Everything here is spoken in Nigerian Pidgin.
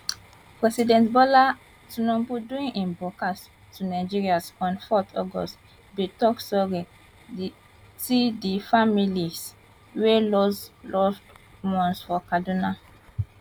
president bola tinubu during im broadcast to nigerians on 4 august bin tok sorry ti di families wey lose loved ones for kaduna